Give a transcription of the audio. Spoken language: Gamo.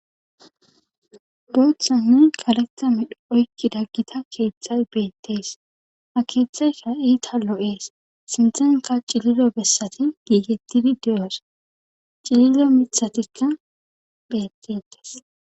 Booththanne kaleta medhe oykki daggita keeththay beettees ha keeththayka iita lo7ees sinthenka cilido bessati giigettidi de7os cililo mithatikka bettetees.